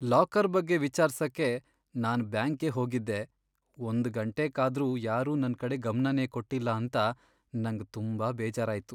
Locker ಬಗ್ಗೆ ವಿಚಾರ್ಸಕೆ ನಾನ್ ಬ್ಯಾಂಕ್ಗೆ ಹೋಗಿದ್ದೆ ಒಂದ್ ಗಂಟೆ ಕಾದ್ರೂ ಯಾರೂ ನನ್ ಕಡೆ ಗಮ್ನನೇ ಕೊಟ್ಟಿಲ್ಲ ಅಂತ ನಂಗ್ ತುಂಬಾ ಬೇಜಾರಾಯ್ತು.